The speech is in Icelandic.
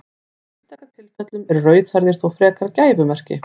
Í einstaka tilfellum eru rauðhærðir þó frekar gæfumerki.